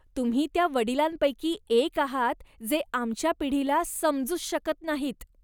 तुम्ही त्या वडिलांपैकी एक आहात जे आमच्या पिढीला समजूच शकत नाहीत.